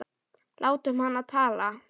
Látum hana tala.